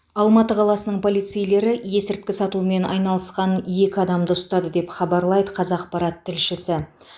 алматы қаласының полицейлері есірткі сатумен айналысқан екі адамды ұстады деп хабарлайды қазақпарат тілшісі